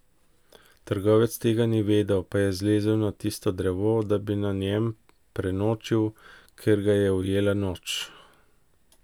Trgovec tega ni vedel, pa je zlezel na tisto drevo, da bi na njem prenočil, ker ga je ujela noč.